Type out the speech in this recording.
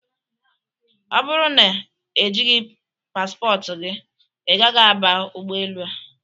Ọ bụrụ na e jighị paspọtụ gị, ị gaghị aba ụgbọelu a!